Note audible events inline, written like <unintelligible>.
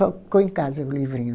<unintelligible> Ficou em casa o livrinho.